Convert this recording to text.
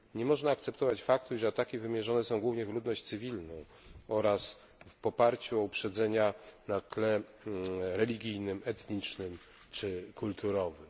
Nie można akceptować faktu, że ataki wymierzone są głównie w ludność cywilną oraz w oparciu o uprzedzenia na tle religijnym, etnicznym czy kulturowym.